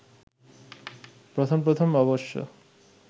প্রথম প্রথম অবশ্য